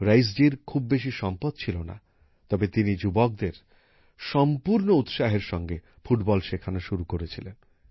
রইসজির খুব বেশি সম্পদ ছিল না তবে তিনি যুবকদের সম্পূর্ণ উৎসাহের সঙ্গে ফুটবল শেখানো শুরু করেছিলেন